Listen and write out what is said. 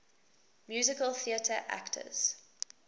musical theatre actors